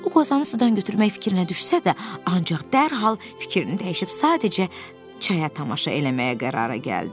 O qozanı sudan götürmək fikrinə düşsə də, ancaq dərhal fikrini dəyişib sadəcə çaya tamaşa eləməyə qərara gəldi.